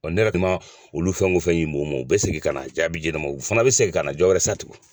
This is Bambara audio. Ɔ ne ka olu fɛn o fɛn u u bɛ segin ka na jaabi di ne ma u fana bɛ segin ka na jɔwɛrɛ san tugun